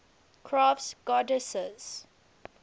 crafts goddesses